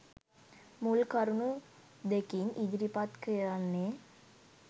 මුල් කරුණු දෙකින් ඉදිරිපත් කරන්නේ